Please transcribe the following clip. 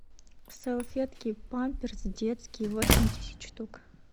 салфетки памперс детские восемьдесят штук